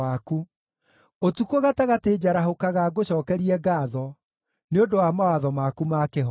Ũtukũ gatagatĩ njarahũkaga ngũcookerie ngaatho nĩ ũndũ wa mawatho maku ma kĩhooto.